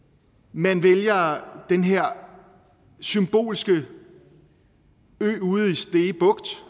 man vælger den her symbolske ø ude